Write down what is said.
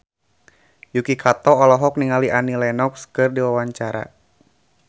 Yuki Kato olohok ningali Annie Lenox keur diwawancara